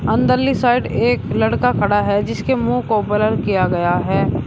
अंदर ली साइड एक खड़ा है जिसके मुंह को ब्लर किया गया है।